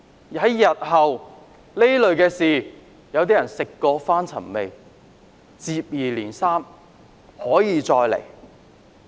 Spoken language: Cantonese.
日後遇到同類事情，有些人食髓知味，接二連三地用同樣手法。